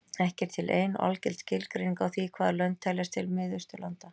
Ekki er til ein og algild skilgreining á því hvaða lönd teljast til Mið-Austurlanda.